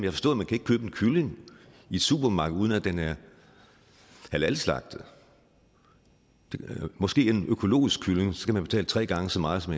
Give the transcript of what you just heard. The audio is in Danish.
kylling i et supermarked uden at den er halalslagtet det gælder måske en økologisk kylling skal man betale tre gange så meget som